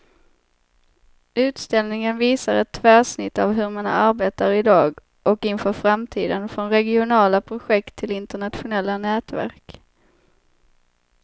Utställningen visar ett tvärsnitt av hur man arbetar i dag och inför framtiden, från regionala projekt till internationella nätverk.